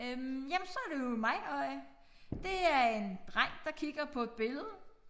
Øh jamen så det jo mig og øh det er en dreng der kigger på et billede